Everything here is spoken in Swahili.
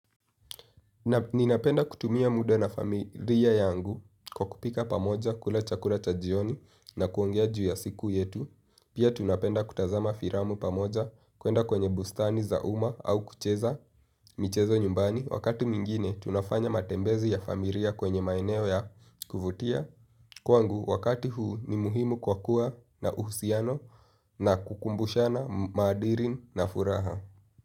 Ninapenda kutumia muda na familia yangu kwa kupika pamoja kula chakula cha jioni na kuongea juu ya siku yetu. Pia tunapenda kutazama firamu pamoja kuenda kwenye bustani zauma au kucheza michezo nyumbani. Wakati mingine tunafanya matembezi ya familia kwenye maeneo ya kuvutia. Kwangu wakati huu ni muhimu kwa kuwa na uhusiano na kukumbushana madirin na furaha.